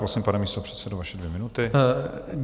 Prosím, pane místopředsedo, vaše dvě minuty.